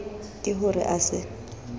ke ho re a se